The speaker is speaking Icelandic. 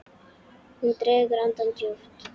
Hún dregur andann djúpt.